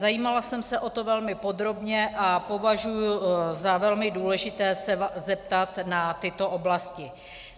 Zajímala jsem se o to velmi podrobně a považuji za velmi důležité se zeptat na tyto oblasti.